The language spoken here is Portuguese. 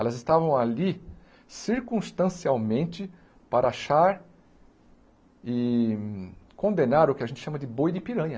Elas estavam ali circunstancialmente para achar e condenar o que a gente chama de boi de piranha.